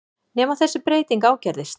Nema þessi breyting ágerðist.